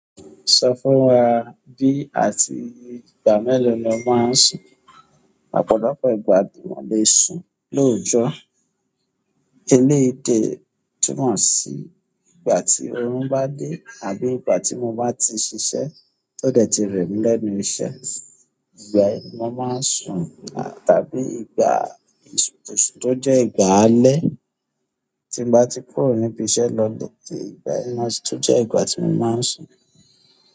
Sọ fún wa bí àti ìgbà mẹ́lò ni o máa ń sùn. Ọ̀pọ̀lọpọ̀ ìgbà tí mọ́ lè sùn lóòtọ́. Eléyi dè túmọ̀ sí ìgbà tí orún bá dé àbí ìgbà tí mo bá ti ṣiṣẹ́ tó dẹ̀ ti rẹ̀ mí lẹ́nu iṣẹ́. Ìgbà yi ni mo máa ń sùn tàbí ìgbà tó jẹ́ ìgbà alẹ́ tí mo bá ti kúrò níbi iṣẹ́ lọ ilé, ìgbà yi na si tun jẹ́ ìgbà tí mo máa ń sùn.